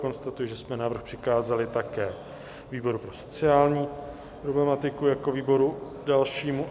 Konstatuji, že jsme návrh přikázali také výboru pro sociální problematiku jako výboru dalšímu.